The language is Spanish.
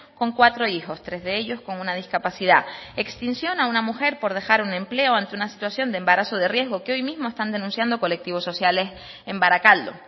con cuatro hijos tres de ellos con una discapacidad extinción a una mujer por dejar un empleo ante una situación de embarazo de riesgo que hoy mismo están denunciando colectivos sociales en barakaldo